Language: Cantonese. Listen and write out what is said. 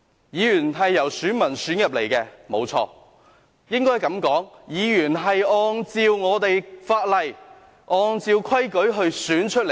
議員是由選民選出來的，沒錯......應該這樣說，議員是按照法例，按照規矩被選出來的。